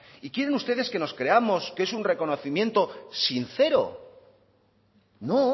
y quieren ustedes que nos creamos que es un reconocimiento sincero no